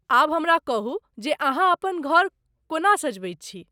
आब हमरा कहू जे अहाँ अपन घर को ना सजबैत छी?